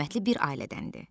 Hörmətli bir ailədəndir.